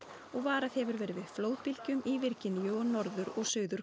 og varað hefur verið við flóðbylgjum í Virginíu og Norður og Suður